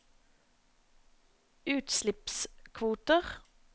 utslippskvoter